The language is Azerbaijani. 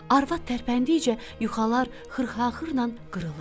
Arvad tərpəndikcə yuxalar xırxa-xırla qırılırdı.